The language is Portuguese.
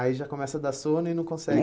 Aí já começa a dar sono e não consegue.